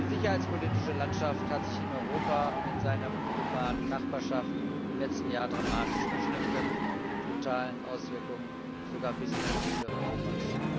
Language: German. Die sicherheitspolitische Landschaft hat sich in Europa und in seiner unmittelbaren Nachbarschaft im letzten Jahr dramatisch verschlechtert mit brutalen Auswirkungen sogar bis in die Mitte Europas.